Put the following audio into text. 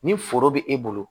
Ni foro bɛ e bolo